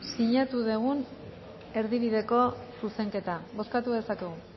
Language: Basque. sinatu dugun erdibideko zuzenketa bozkatu dezakegu